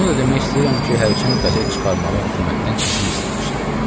Bunu da demək istəyirəm ki, hərçənd qəzet çıxarmağa hökumətdən izin istəmişdim.